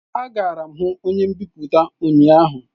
Agara m hu onye mbipụta ụnyahụ